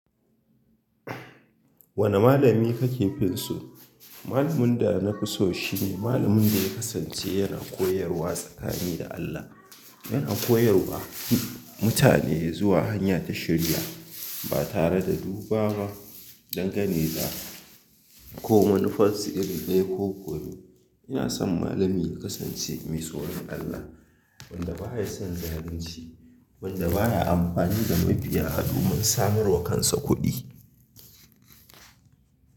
Wanne malami kake fin so? Malamin da na fi so shi ne, malamin da ya kasance yana koyarwa tsakani da Allah. Yana koyarwa mutane zuwa hanya ta shiriya, ba tare da duba ba, dangane da ko manifassu iri ɗaya koko me. Ina son malami ya kasance mai tsoron Allah wanda ba ya son zalunci, wanda ba ya amfani da mabiya, da mabiya domin samarwa kansa kuɗi.